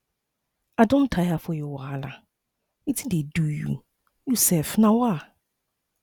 i don tire for your wahala wetin dey do um you sef um